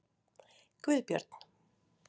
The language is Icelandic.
Guðbjörn